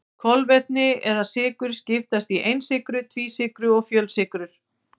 Kolvetni eða sykrur skiptast í einsykrur, tvísykrur og fjölsykrur.